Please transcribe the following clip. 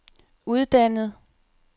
uddannet